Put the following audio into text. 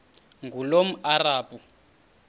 ngulomarabu